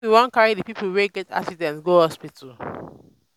we wan carry di pipo wey get accident go hospital.